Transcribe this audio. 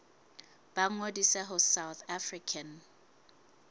ba ngodise ho south african